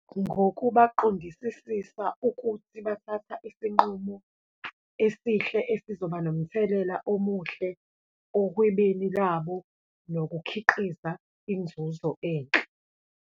Ngokuba baqondisisisa ukuthi bathatha isinqumo esihle esizobanomthelela omuhle, ohwebeni labo nokukhiqiza inzuzo enhle.